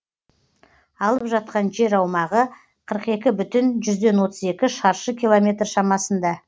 алып жатқан жер аумағы қырық екі бүтін отыз екі шаршы километр шамасында